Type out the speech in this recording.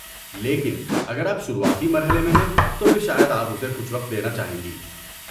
لیکن اگر آپ شروعاتی مرحلے میں ہیں، تو پھر شاید آپ اسے کچھ وقت دینا چاہیں گی۔